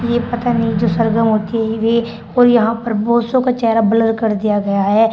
ये पता नहीं जो सरगम होती है वे और वे यहां पर बहुतसो का चेहरा ब्लर कर दिया गया है।